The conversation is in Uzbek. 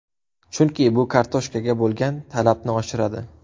Chunki bu kartoshkaga bo‘lgan talabni oshiradi.